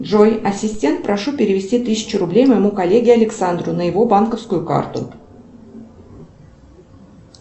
джой ассистент прошу перевести тысячу рублей моему коллеге александру на его банковскую карту